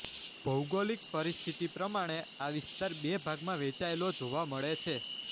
ભૌગોલિક પરિસ્થતિ પ્રમાણે આ વિસ્તાર બે ભાગમાં વહેંચાયેલો જોવા મળે છે